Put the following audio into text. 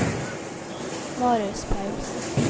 Marius Paulsen